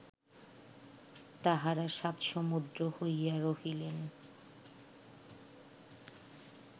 তাঁহারা সাত সমুদ্র হইয়া রহিলেন